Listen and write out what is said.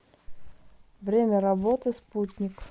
время работы спутник